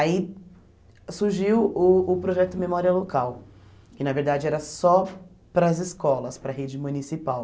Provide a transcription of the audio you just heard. Aí surgiu uh o projeto Memória Local, que na verdade era só para as escolas, para a rede municipal,